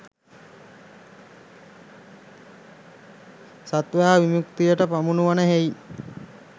සත්වයා විමුක්තියට පමුණුවන හෙයින්